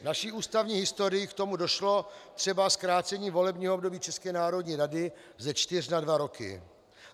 V naší ústavní historii k tomu došlo, třeba zkrácení volebního období České národní rady ze čtyř na dva roky.